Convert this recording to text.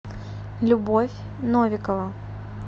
любовь новикова